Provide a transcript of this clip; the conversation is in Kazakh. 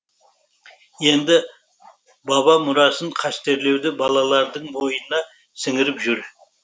енді баба мұрасын қастерлеуді балалардың бойына сіңіріп жүр